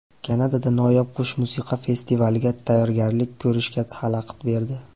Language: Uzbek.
Kanadada noyob qush musiqa festivaliga tayyorgarlik ko‘rishga xalaqit berdi .